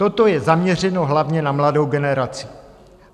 Toto je zaměřeno hlavně na mladou generaci.